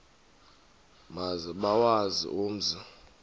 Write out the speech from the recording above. maze bawazi umzi